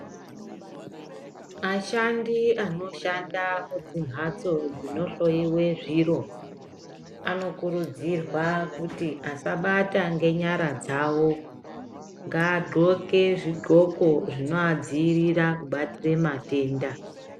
Ashandi anoshanda kudzimhatso dzinohloyiwe zviro anokurudzirwa kuti asabata ngenyara dzawo. Ngadhloke zvidhloko zvinoadziirira kubatsira matenda.